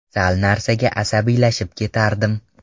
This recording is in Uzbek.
Sal narsaga asabiylashib ketardim.